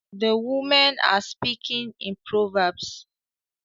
The women are speaking in proverbs